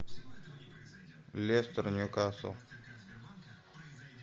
лестер ньюкасл